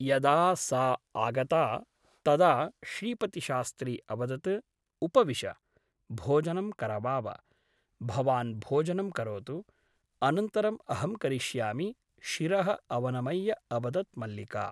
यदा सा आगता तदा श्रीपतिशास्त्री अवदत् उपविश , भोजनं करवाव । भवान् भोजनं करोतु । अनन्तरम् अहं करिष्यामि शिरः अवनमय्य अवदत् मल्लिका ।